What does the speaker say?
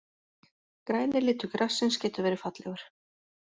Græni litur grassins getur verið fallegur.